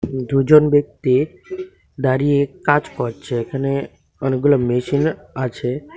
দুজন ব্যক্তি দাঁড়িয়ে কাজ করছে এখানে অনেকগুলো মেশিন আছে।